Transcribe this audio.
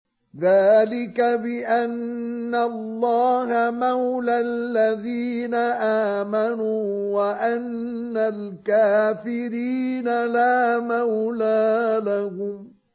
ذَٰلِكَ بِأَنَّ اللَّهَ مَوْلَى الَّذِينَ آمَنُوا وَأَنَّ الْكَافِرِينَ لَا مَوْلَىٰ لَهُمْ